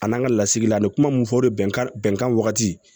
A n'an ka lasigila an bɛ kuma mun fɔ o de bɛn kan wagati